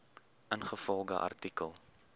ingevolge artikel